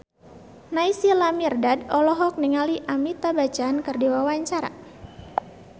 Naysila Mirdad olohok ningali Amitabh Bachchan keur diwawancara